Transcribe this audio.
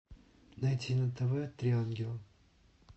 найти на тв три ангела